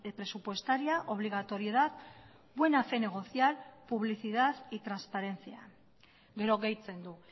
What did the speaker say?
presupuestaria obligatoriedad buena fe negocial publicidad y transparencia gero gehitzen du